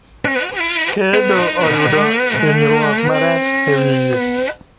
kedo oyudo ninyruok marach e wiye.